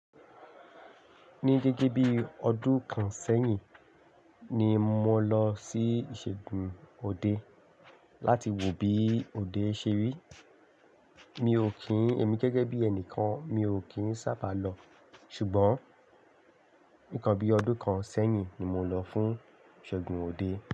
Ní gege bí ọdún kan sẹ́yìn ni mo lọ sí ìṣègùn òde láti wo bí òde ṣe rí. Mi ò kín ẹ̀mí gẹ́gẹ́ bí ẹnìkan, mi ò kín sábà lọ. Ṣùgbọ́n, nìkan bí ọdún kan sẹ́yìn ni mo lọ fún ìṣègùn òde.